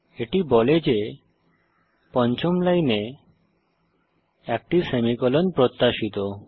এটি বলে যে পঞ্চম লাইনে একটি সেমিকোলন প্রত্যাশিত